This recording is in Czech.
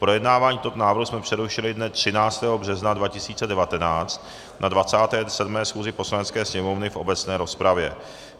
Projednávání tohoto návrhu jsme přerušili dne 13. března 2019 na 27. schůzi Poslanecké sněmovny v obecné rozpravě.